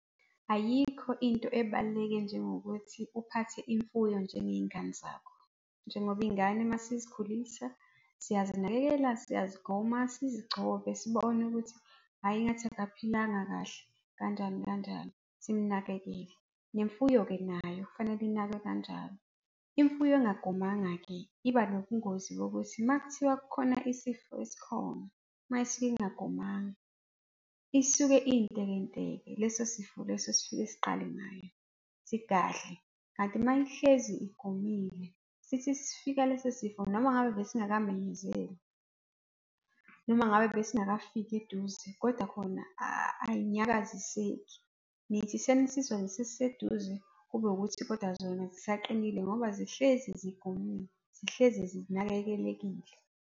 Ayikho into ebaluleke njengokuthi uphathe imfuyo njengey'ngane zakho. Njengoba iy'ngane uma sizikhulisa, siyazinakekela, siyazigoma, sizigcobe sibone ukuthi hhayi engathi akaphilanga kahle kanjani, kanjani, simnakekele. Nemfuyo-ke nayo, kufanele inakwe kanjalo. Imfuyo engagomanga-ke iba nobungozi bokuthi uma kuthiwa kukhona isifo esikhona uma isuke ingagomanga, isuke intekenteke, leso sifo leso sifike siqale ngayo, sigadle. Kanti uma ihlezi igomile, sithi sifika leso sifo noma ngabe besingakamenyezelwa noma ngabe besingakafiki eduze kodwa khona ay'nyakaziseki. Nithi senisizwa sesiseduze kube ukuthi kodwa zona zisaqinile ngoba zihlezi zigonyiwe, zihlezi zinakekelekile.